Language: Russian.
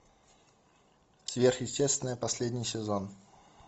сверхъестественное последний сезон